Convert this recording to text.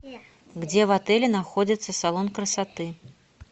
где в отеле находится салон красоты